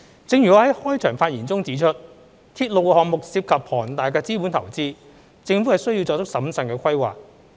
正如我在開場發言中指出，鐵路項目涉及龐大的資本投資，政府需作出審慎的規劃。